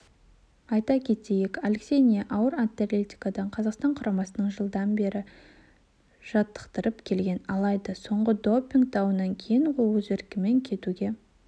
айта кетейік алексей ни ауыр атлетикадан қазақстан құрамасын жылдан бері жаттықтырып келген алайда соңғы допинг дауынан кейін ол өз еркімен кетуге